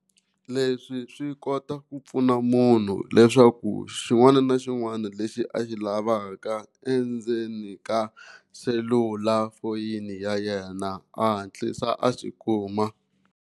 Leswi swi kota ku pfuna munhu leswaku xin'wana na xin'wana lexi a xi lavaka endzeni ka selulafoni ya yena a hatlisa a xi kuma.